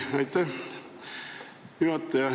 Aitäh, juhataja!